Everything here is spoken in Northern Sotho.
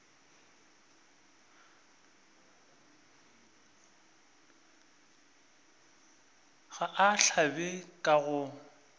ga a hlabe ka go